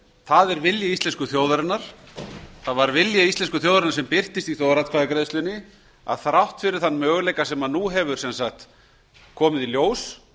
það er vilji íslensku þjóðarinnar sá vilji íslensku þjóðarinnar birtist í þjóðaratkvæðagreiðslunni að þrátt fyrir þann möguleika sem nú hefur komið í ljós